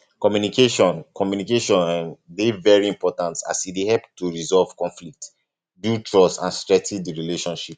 communication um communication um dey very important as e dey help to resolve conflicts build trust and strengthen di relationship